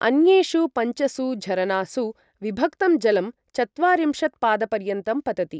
अन्येषु पञ्चसु झरनासु विभक्तं जलं चत्वारिंशत् पादपर्यन्तं पतति ।